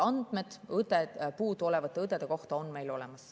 Andmed puuduolevate õdede kohta on meil olemas.